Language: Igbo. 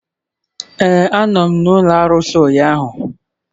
Ee, a nọ m n'ụlọ arụsị ụnyahụ.